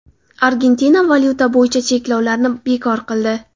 Argentina valyuta bo‘yicha cheklovlarni bekor qildi .